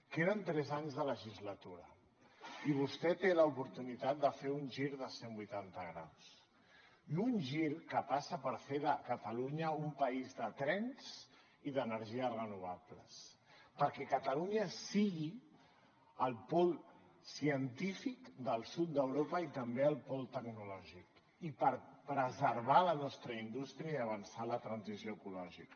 queden tres anys de legislatura i vostè té l’oportunitat de fer un gir de cent vuitanta graus i un gir que passa per fer de catalunya un país de trens i d’energies renovables perquè catalunya sigui el pol científic del sud d’europa i també el pol tecnològic i per preservar la nostra indústria i avançar en la transició ecològica